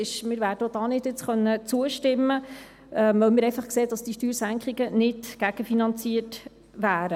Wir werden auch da jetzt nicht zustimmen können, weil wir einfach sehen, dass diese Steuersenkungen nicht gegenfinanziert wären.